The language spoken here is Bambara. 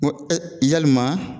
Ko yalima